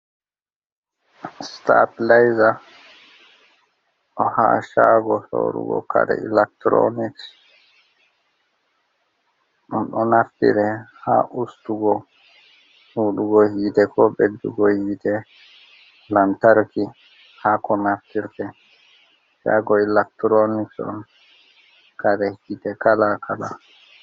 sita pileza ha shago sorugo kare ilacturonic, ɗum ɗo naftire haa ustugo hudugo hite ko beddugo yite lantarki haa ko naftire chago ilactironic on kare hite kala kala.